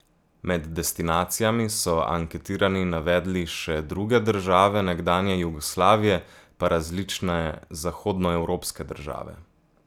Med destinacijami so anketirani navedli še druge države nekdanje Jugoslavije, pa različne zahodnoevropske države.